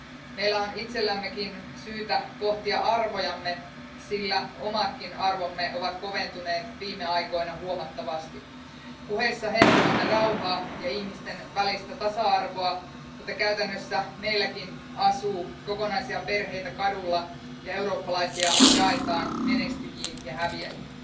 Meillä on itsellämmekin syytä pohtia arvojamme, sillä omatkin arvomme ovat koventuneet viime aikoina huomattavasti puheissa hehkutamme rauhaa ja ihmisten välistä tasa arvoa, mutta käytännössä meilläkin asuu kokonaisia perheitä kaduilla ja eurooppalaisia jaetaan menestyjiin ja häviäjiin.